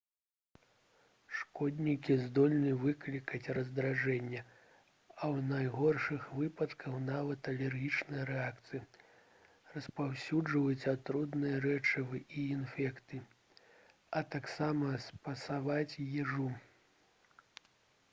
шкоднікі здольны выклікаць раздражненне а ў найгоршых выпадках нават алергічныя рэакцыі распаўсюджваць атрутныя рэчывы і інфекцыі а таксама псаваць ежу